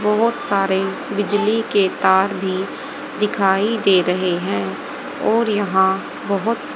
बहोत सारे बिजली के तार भी दिखाई दे रहे हैं और यहां बहोत स--